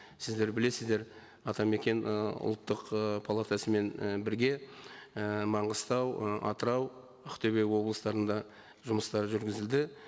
сіздер білесіздер атамекен ы ұлттық ы палатасымен і бірге і маңғыстау ы атырау ақтөбе облыстарында жұмыстар жүргізілді